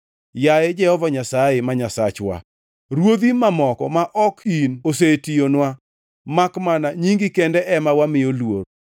Yaye Jehova Nyasaye ma Nyasachwa, ruodhi mamoko ma ok in osetiyowa, makmana nyingi kende ema wamiyo luor.